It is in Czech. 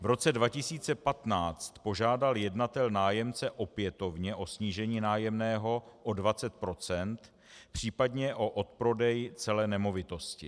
V roce 2015 požádal jednatel nájemce opětovně o snížení nájemného o 20 %, případně o odprodej celé nemovitosti.